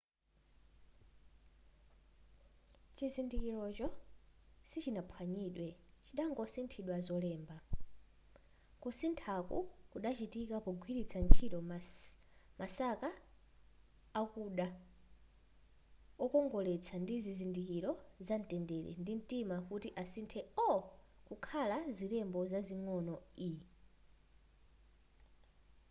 chizindikirocho sichidaphwanyidwe chidangosinthidwa zolemba kusinthaku kudachitika pogwiritsa ntchito masaka akuda wokongoletsa ndi zizindikiro zamtendere ndi mtima kuti asinthe o kukhala zilembo zazing'ono e